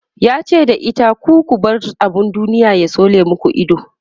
yace da ita "ku ku bar abun duniya ya tsole maku Ido!"